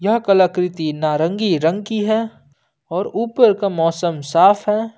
यह कलाकृति नारंगी रंग की है और ऊपर का मौसम साफ है।